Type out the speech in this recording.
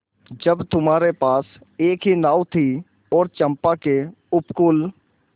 जब तुम्हारे पास एक ही नाव थी और चंपा के उपकूल